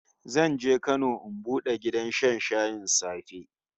Zan je Kano in bude gidan shan shayin safe